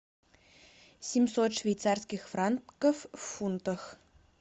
семьсот швейцарских франков в фунтах